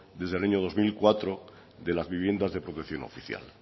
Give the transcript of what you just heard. desde el año dos mil cuatro de las viviendas de protección oficial